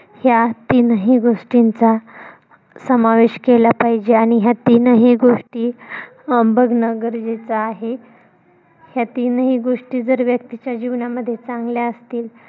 या तीनही गोष्टींचा समावेश केला पाहिजे आणि या तीनही गोष्टी बघणं गरजेचं आहे. या तीनही गोष्टी जर, व्यक्तीच्या जीवनामध्ये चांगल्या असतील.